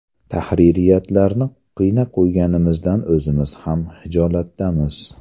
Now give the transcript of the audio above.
Tahririyatlarni qiynab qo‘yganimizdan o‘zimiz ham xijolatdamiz”.